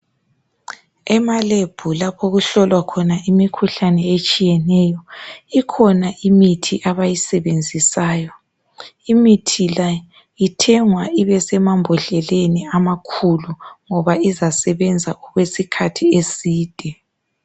Emalebhu lapho okuhlolwa khona imikhuhlane etshiyeneyo ikhona imithi abayisebenzisayo imithi le ithengwa ibe semambodleleni amakhulu ngoba izasebenza okwesikhathi eside.